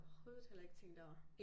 Overhovedet heller ikke tænkt over